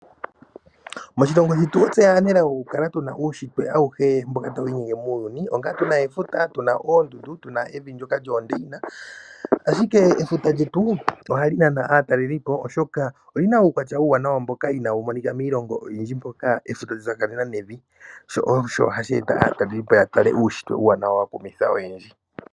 Moshilongo shetu otse aanelago oku kala tu na uunshitwe awuhe mboka ta wu inyenge muuyuni, onga tu na efuta, tu na oondundu , tu na evi ndyoka lyoondeyina , ashike efuta lyetu oha li nana aatalelipo oshoka oli na uukwatya uuwanawa mboka inaa wu monika miilongo oyindji, mpoka efuta lya tsakanena nevi sho osho hashi e ta aatalelipo ya tale uushitwe uuwanawa wa kumitha oyendji.